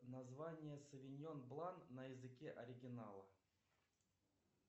название совиньон блан на языке оригинала